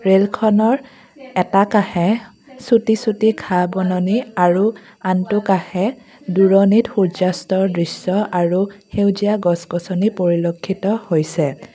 ৰেলখনৰ এটা কাষে চুটি চুটি ঘাঁহ বননি আৰু আনটো কাষে দূৰণিত সূৰ্য্য অস্তৰ দৃশ্য আৰু সেউজীয়া গছ গছনি পৰিলেক্ষ্যত হৈছে।